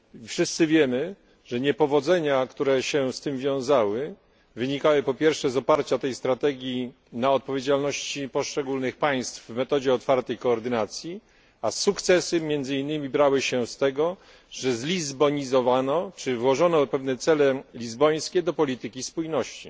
Wszyscy wiemy, że niepowodzenia, które się z tym wiązały, wynikały, po pierwsze, z oparcia tej strategii na odpowiedzialności poszczególnych państw w metodzie otwartej koordynacji, a sukcesy m. in. brały się z tego, że zlizbonizowano, czyli włożono pewne cele lizbońskie do polityki spójności.